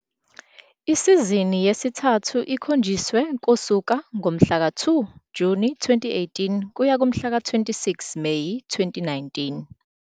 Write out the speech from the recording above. Isizini yesithathu ikhonjiswe kusuka ngomhlaka 2 Juni 2018 kuya kumhlaka 26 Meyi 2019.